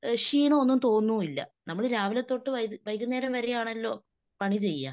ക്ഷീണം ഒന്നും തോന്നൂമില്ല. നമ്മൾ രാവിലെതൊട്ട് വൈകുന്നേരം വരെ ആണല്ലോ പണിചെയ്യുക.